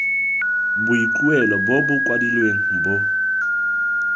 boikuelo bo bo kwadilweng bo